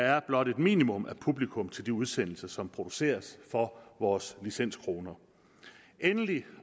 er blot et minimum af publikum til de udsendelser som produceres for vores licenskroner endelig